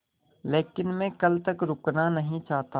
लेकिन मैं कल तक रुकना नहीं चाहता